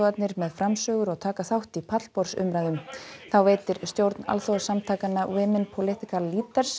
með framsögur og taka þátt í pallborðsumræðum þá veitir stjórn alþjóðasamtakanna Women political